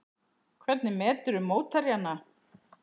Hvernig meturðu mótherjana?